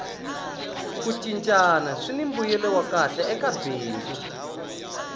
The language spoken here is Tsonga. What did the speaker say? ku cincana swini mbuyelo wa kahle eka bindzu